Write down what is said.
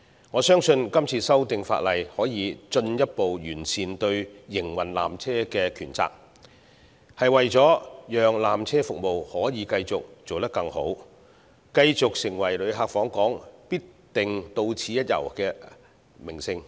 我相信今次的法例修訂可進一步完善纜車營運的權責，其目的是為了讓纜車服務可繼續做得更好，讓纜車繼續成為旅客訪港時必定到此一遊的名勝。